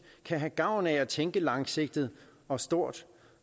kan have gavn af at tænke langsigtet og stort